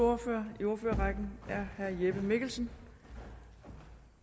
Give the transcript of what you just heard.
ordfører i ordførerrækken er herre jeppe mikkelsen